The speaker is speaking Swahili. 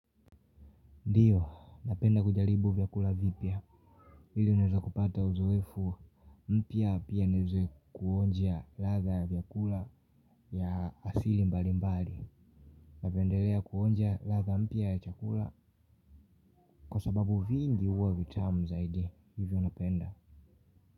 Ndiyo, napenda kujaribu vyakula vipya. Hili niweze kupata uzoefu. Mpya pia niweze kuonja ladha ya vyakula vya asili mbali mbali. Napendelea kuonjia latha mpia ya chakula. Kwa sababu vingi huwa vitamu zaidi. Hivyo napenda.